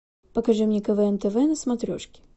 покажи мне квн тв на смотрешке